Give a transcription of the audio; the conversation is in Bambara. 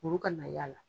Olu ka na y'a la